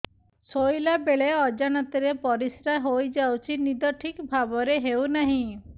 ଶୋଇଲା ବେଳେ ଅଜାଣତରେ ପରିସ୍ରା ହୋଇଯାଉଛି ନିଦ ଠିକ ଭାବରେ ହେଉ ନାହିଁ